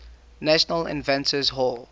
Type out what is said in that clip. national inventors hall